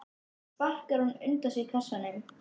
Svo sparkar hún undan sér kassanum.